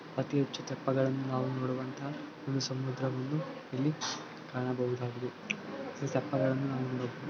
ಅತಿ ಹೆಚ್ಚು ತೆಪ್ಪಗಳನ್ನುನಾವು ನೋಡುವಂತಹ ಒಂದು ಸಮುದ್ರವನ್ನು ಇಲ್ಲಿ ಕಾಣಬಹುದಾಗಿದೆ ಅತಿ ತೆಪ್ಪಗಳನ್ನು ನೋಡಬಹುದು.